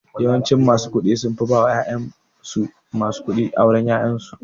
Yawancin masu kuɗi sunfi ba wa ƴan uwansu masu kuɗi auren yaransu